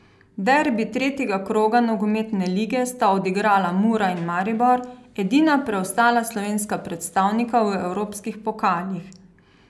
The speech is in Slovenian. Derbi tretjega kroga nogometne lige sta odigrala Mura in Maribor, edina preostala slovenska predstavnika v evropskih pokalih.